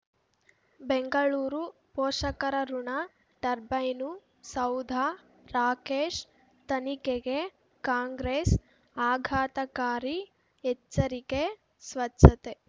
ಬೆಂಗಳೂರು ಪೋಷಕರಋಣ ಟರ್ಬೈನು ಸೌಧ ರಾಕೇಶ್ ತನಿಖೆಗೆ ಕಾಂಗ್ರೆಸ್ ಆಘಾತಕಾರಿ ಎಚ್ಚರಿಕೆ ಸ್ವಚ್ಛತೆ